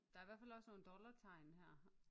Der er i hvert fald også nogle dollartegn her